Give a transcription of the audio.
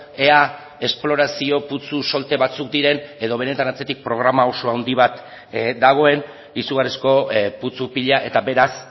ea esplorazio putzu solte batzuk diren edo benetan atzetik programa oso handi bat dagoen izugarrizko putzu pila eta beraz